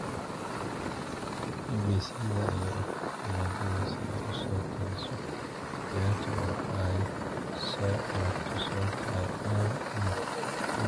BBC-da ayaa u tagtay Nigeria si ay u soo tabiso ciyaarta oo ay soo aragto sababta ay caan u noqotay.